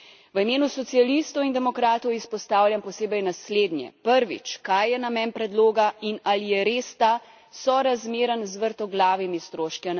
V imenu socialistov in demokratov izpostavljam posebej naslednje prvič, kaj je namen predloga in ali je res ta sorazmeren z vrtoglavimi stroški?